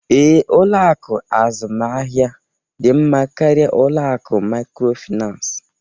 Ee, ụlọ akụ azụmaahịa dị mma karịa ụlọ akụ microfinance